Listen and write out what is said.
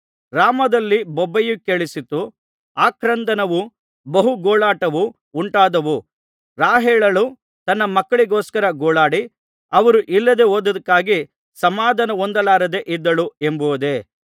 ರಾಮದಲ್ಲಿ ಬೊಬ್ಬೆಯು ಕೇಳಿಸಿತು ಆಕ್ರಂದನವೂ ಬಹು ಗೋಳಾಟವೂ ಉಂಟಾದವು ರಾಹೇಲಳು ತನ್ನ ಮಕ್ಕಳಿಗೋಸ್ಕರ ಗೋಳಾಡಿ ಅವರು ಇಲ್ಲದೆ ಹೋದದ್ದಕ್ಕಾಗಿ ಸಮಾಧಾನ ಹೊಂದಲಾರದೆ ಇದ್ದಳು ಎಂಬುದೇ